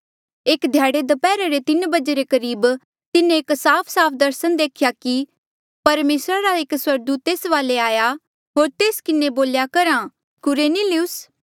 एक ध्याड़े दप्हैरा रे तीन बजे रे करीब तिन्हें एक साफसाफ दर्सन देख्या कि परमेसरा रा एक स्वर्गदूत तेस वाले आया होर तेस किन्हें बोल्या करहा कुरनेलियुस